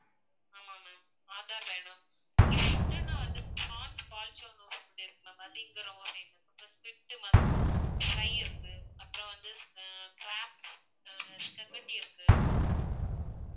ஆமா ma'am ஆதார் வேணும். இங்க food னா வந்து ப்ரான் பால்ச்சோன்னு ஒரு food இருக்கு ma'am அது இங்க ரொம்ப famous இங்க ஸ்குவிட் ஃப்ரை இருக்கு. அப்பறம் வந்து க்ராப் ஸ்பெகட்டி இருக்கு.